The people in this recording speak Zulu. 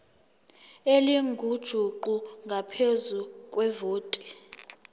elingujuqu ngaphezu kwevoti